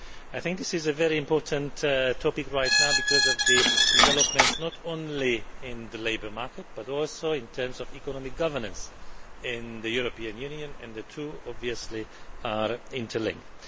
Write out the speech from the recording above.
I think this is a very important topic right now because of the developments not only in the labour market, but also in terms of economic governance in the European Union, and the two are obviously interlinked.